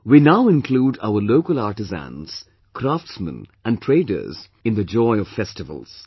We now include our local artisans, craftsmen and traders in the joy of festivals